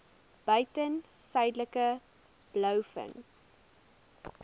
buiten suidelike blouvin